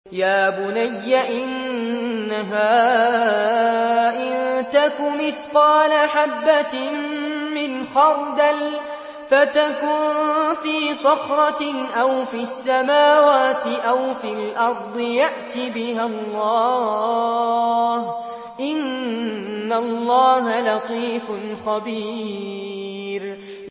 يَا بُنَيَّ إِنَّهَا إِن تَكُ مِثْقَالَ حَبَّةٍ مِّنْ خَرْدَلٍ فَتَكُن فِي صَخْرَةٍ أَوْ فِي السَّمَاوَاتِ أَوْ فِي الْأَرْضِ يَأْتِ بِهَا اللَّهُ ۚ إِنَّ اللَّهَ لَطِيفٌ خَبِيرٌ